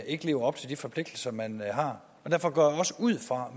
ikke lever op til de forpligtelser man har og derfor går jeg også ud fra